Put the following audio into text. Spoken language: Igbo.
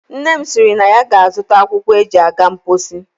Nna m sịrị na ya ga-azụta akwụkwọ e ji aga mposi.